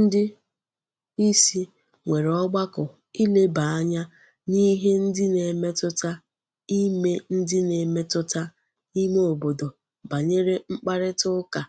Ndi isi nwere ogbako ileba anya n'ihe ndi na-emetuta ime ndi na-emetuta ime obodo banyere mkparita uka